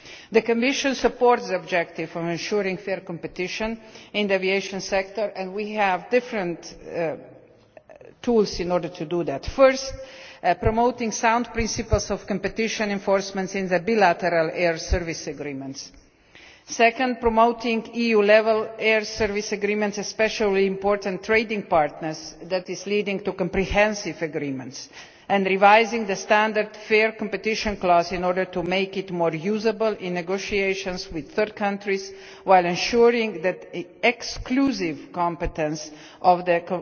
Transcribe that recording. The Commission supports the objective of ensuring fair competition in the aviation sector and we have different tools in order to do this first, by promoting sound principles of competition enforcement in the bilateral air service agreements, and second, by promoting EU level air service agreements especially with important trading partners that lead to comprehensive agreements and revising the standard fair competition' clause in order to make it more usable in negotiations with third countries, while ensuring that the exclusive competence of the